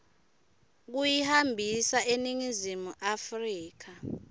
kuyihambisa eningizimu afrika